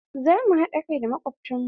Za mh haɗa kai da makobtan mu.